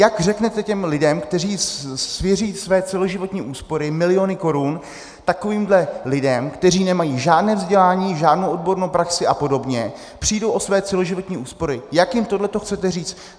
Jak řeknete těm lidem, kteří svěří své celoživotní úspory, miliony korun, takovýmhle lidem, kteří nemají žádné vzdělání, žádnou odbornou praxi a podobně, přijdou o své celoživotní úspory, jak jim tohleto chcete říct?